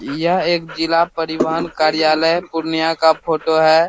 यह एक जिला परिवहन कार्यालय पूर्णिया का फ़ोटो है।